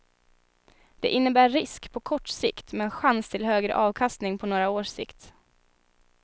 Det innebär risk på kort sikt men chans till högre avkastning på några års sikt.